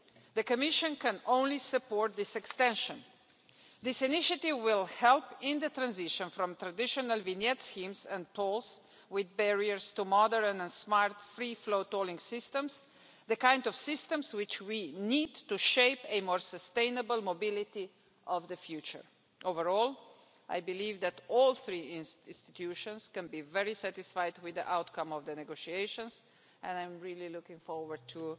The Commission can only support this extension. This initiative will help in the transition from traditional vignette schemes, and tolls with barriers, to modern and smart, free flow tolling systems, the kind of systems we need in order to shape more sustainable mobility in the future. Overall, I believe that all three EU institutions can be very satisfied with the outcome of the negotiations and I'm looking forward